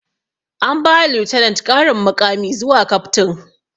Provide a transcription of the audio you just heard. An ba wa lieutenent ƙarin muƙami zuwa captain